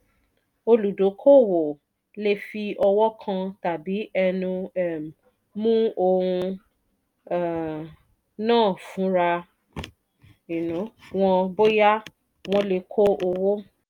olùdókòwò le fi ọwọ́ kan tàbí ẹnu um mú ohun um náà fúnra um wọn bóyá wón lè kó owó